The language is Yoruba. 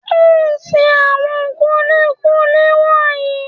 O ṣe àwọn kúlíkúlí wọ̀nyí.